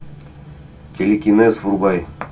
телекинез врубай